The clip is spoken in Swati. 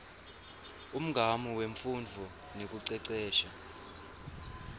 umgamu wemfundvo nekucecesha